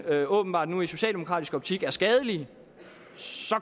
åbenbart nu i socialdemokratisk optik er skadelige